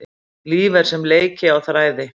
Líf er sem leiki á þræði.